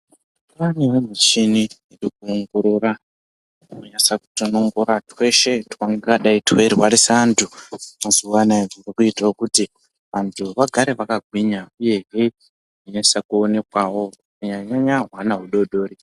Panewo michini inoongorora inonasa kutonongora tweshe twungadai tweirwarisa antu mazuwa anaya kutira kuti, vantu vagare vakagwinya, uyehe veinasa kuonekwawo, kunyanya-nyanya hwana hudodori.